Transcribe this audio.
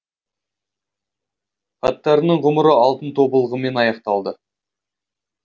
хаттарының ғұмыры алтын тобылғымен аяқталды